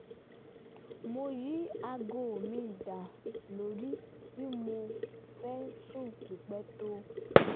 mo yí aago mi da lórí bí mo fẹ́ sùn pípẹ́ tó